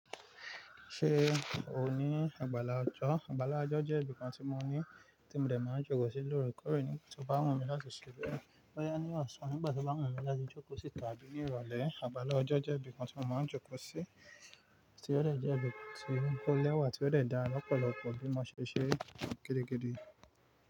Ṣé o ní àgbàlá ọjọ́? Àgbàlá ọjọ́ jẹ́ ibìkan tí mo ní tí mo dè máa ń jókòó sí lóòrèkóòrè nígbà tí ó bá wù mí láti ṣe bee. Bọ́ya ní ọ̀sán, nígbà tí ó bá wù mí láti jókòó síta àbí ní ìrọ̀lẹ́, àgbàlá ọjọ́ jẹ́ ibìkan tí mo máa ń jókòó sí tí ó dè jẹ́ ibìkan tí o lẹ́wà tí ó dè dá lọ́pọ̀lọpọ̀ bí mo ṣe ṣe gídìgídì.